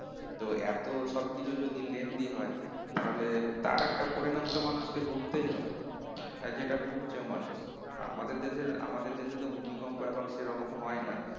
তো এত সবকিছু যদি lengthy হয় তাহলে তার একটা পরিণাম তো মানুষকে ভুগতেই হবে আর যেটা ভুগছো মানুষ আর আমাদের দেশে আমাদের দেশেতো ভূমিকম্প এখন সেরকম হয় না